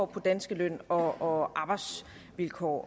på danske løn og arbejdsvilkår